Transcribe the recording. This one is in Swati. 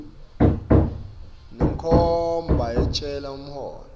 senkhomba yentsela umholo